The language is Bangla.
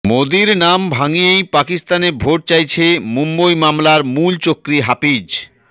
মোদীর নাম ভাঙিয়েই পাকিস্তানে ভোট চাইছে মুম্বই হামলার মূলচক্রী হাফিজ